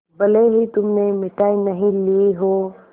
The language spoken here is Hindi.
भले ही तुमने मिठाई नहीं ली हो